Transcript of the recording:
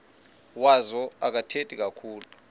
wazo akathethi kakhulu